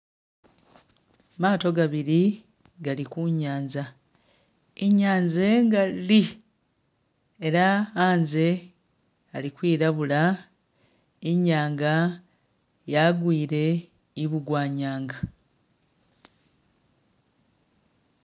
Maato gabili gali kunyanza, inyanza ingali ela anze ali kwilabula, inyanga yagwile ibugwanyanga